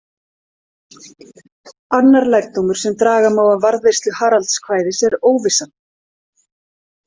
Annar lærdómur sem draga má af varðveislu Haraldskvæðis er óvissan.